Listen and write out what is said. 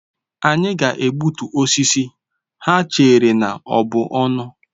Anyị ga-egbutu osisi ha chere na ọ bụ ọnụ.